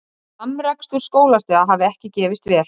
Samrekstur skólastiga hafi ekki gefist vel